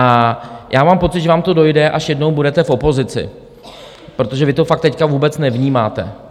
A já mám pocit, že vám to dojde, až jednou budete v opozici, protože vy to fakt teď vůbec nevnímáte.